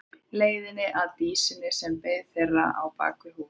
Leiðina að Dísinni sem beið þeirra á bak við hús.